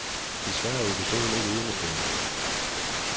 Desværre er episoden ikke enestående.